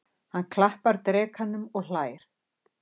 Hann klappar drekanum og hlær.